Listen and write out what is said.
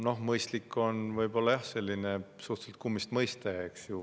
No "mõistlik" on võib-olla selline suhteliselt kummist mõiste.